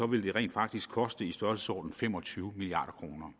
ville det rent faktisk koste i størrelsesordenen fem og tyve milliard kroner